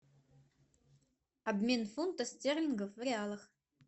обмен фунта стерлинга в реалах